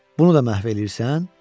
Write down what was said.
Bunu da məhv eləyirsən?